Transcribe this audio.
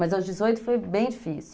Mas aos dezoito foi bem difícil.